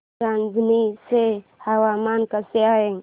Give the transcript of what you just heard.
रांझणी चे हवामान कसे आहे